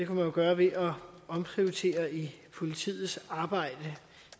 man jo gøre ved at omprioritere i politiets arbejde